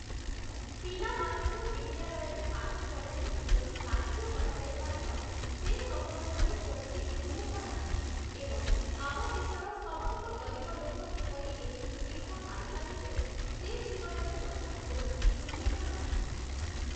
ପିଲାମାନଙ୍କୁ ବିଦ୍ୟାଳୟରେ ପାଠ ପଢ଼ାରେ କିପରି ସାହାଯ୍ୟ କରାଯାଇପାରିବ ସେ ସମ୍ବନ୍ଧରେ କୌଣସି ଉଲ୍ଲେଖ ନାହିଁ ଏବଂ ଆମ ଦେଶର ସମସ୍ତ ଗରିବ ଲୋକ କିପରି ଏହି ସୁବିଧା ପାଇପାରିବେ ସେ ବିଷୟରେ ମଧ୍ୟ କୌଣସି ଉଲ୍ଲେଖ ନାହିଁ ।